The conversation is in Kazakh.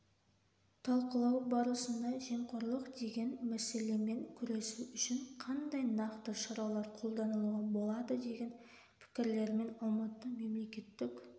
талқылау барысында жемқорлық деген мәселемен күресу үшін кандай нақты шаралар қолданылуға болады деген пікірлерімен алмасты мемлекеттік